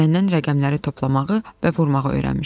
Məndən rəqəmləri toplamağı və vurmağı öyrənmişdi.